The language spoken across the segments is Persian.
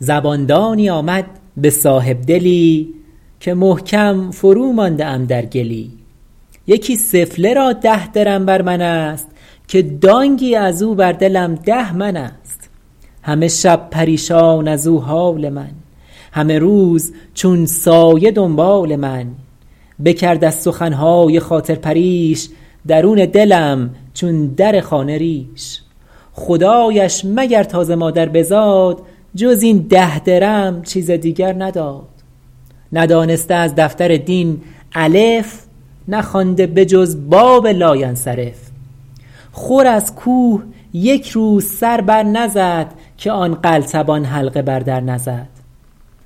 زبان دانی آمد به صاحبدلی که محکم فرومانده ام در گلی یکی سفله را ده درم بر من است که دانگی از او بر دلم ده من است همه شب پریشان از او حال من همه روز چون سایه دنبال من بکرد از سخن های خاطر پریش درون دلم چون در خانه ریش خدایش مگر تا ز مادر بزاد جز این ده درم چیز دیگر نداد ندانسته از دفتر دین الف نخوانده به جز باب لاینصرف خور از کوه یک روز سر بر نزد که آن قلتبان حلقه بر در نزد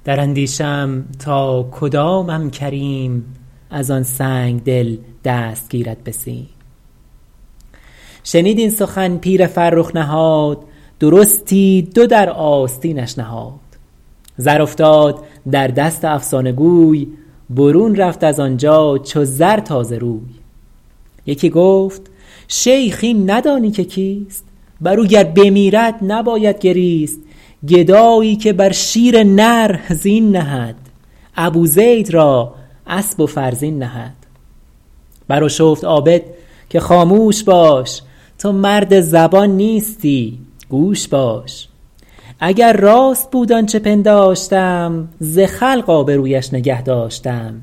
در اندیشه ام تا کدامم کریم از آن سنگدل دست گیرد به سیم شنید این سخن پیر فرخ نهاد درستی دو در آستینش نهاد زر افتاد در دست افسانه گوی برون رفت از آنجا چو زر تازه روی یکی گفت شیخ این ندانی که کیست بر او گر بمیرد نباید گریست گدایی که بر شیر نر زین نهد ابو زید را اسب و فرزین نهد بر آشفت عابد که خاموش باش تو مرد زبان نیستی گوش باش اگر راست بود آنچه پنداشتم ز خلق آبرویش نگه داشتم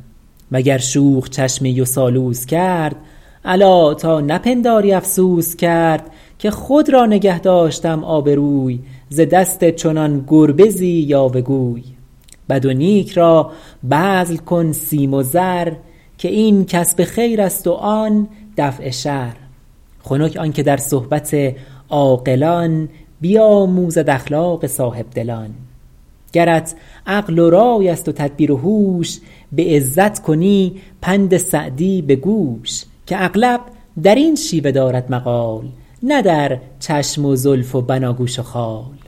وگر شوخ چشمی و سالوس کرد الا تا نپنداری افسوس کرد که خود را نگه داشتم آبروی ز دست چنان گربزی یاوه گوی بد و نیک را بذل کن سیم و زر که این کسب خیر است و آن دفع شر خنک آن که در صحبت عاقلان بیاموزد اخلاق صاحبدلان گرت عقل و رای است و تدبیر و هوش به عزت کنی پند سعدی به گوش که اغلب در این شیوه دارد مقال نه در چشم و زلف و بناگوش و خال